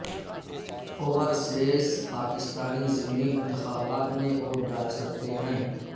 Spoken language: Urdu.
اوورسیز پاکستانی ضمنی انتخابات میں ووٹ ڈال سکتے ہیں